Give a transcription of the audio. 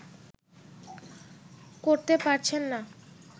করতে পারছেন না